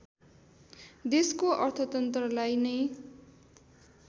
देशको अर्थतन्त्रलाई नै